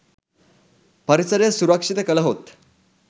පරිසරය සුරක්‍ෂිත කළහොත්